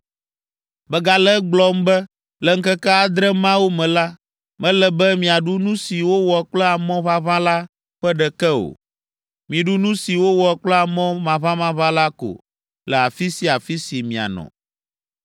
Megale egblɔm be, le ŋkeke adre mawo me la, mele be miaɖu nu si wowɔ kple amɔ ʋaʋã la ƒe ɖeke o: miɖu nu si wowɔ kple amɔ maʋamaʋã la ko le afi sia afi si mianɔ.”